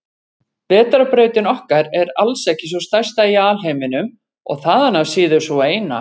Vetrarbrautin okkar er alls ekki sú stærsta í alheiminum og þaðan af síður sú eina.